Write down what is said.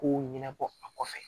Kow ɲɛnabɔ a kɔfɛ